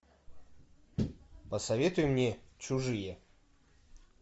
посоветуй мне чужие